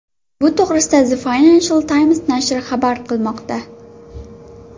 Bu to‘g‘rida The Financial Times nashri xabar qilmoqda .